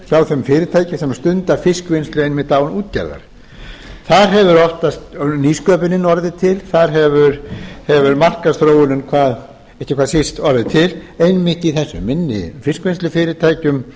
hjá þeim fyrirtækjum sem stunda fiskvinnslu einmitt án útgerðar þar hefur oftast nýsköpunin orðið til þar hefur markaðsþróunin ekki síst orðið til einmitt í þessum minni fiskvinnslufyrirtækjum